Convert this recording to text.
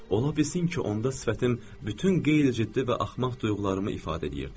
Ola bilsin ki, onda sifətim bütün qeyri-ciddi və axmaq duyğularımı ifadə eləyirdi.